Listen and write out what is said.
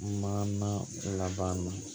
Maana laban na